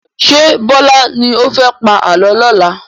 Ṣé Bọlá ni ó fẹ́ pa àálọ́ lọ́la?